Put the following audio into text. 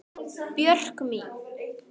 Björk mín.